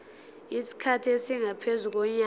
isikhathi esingaphezu konyaka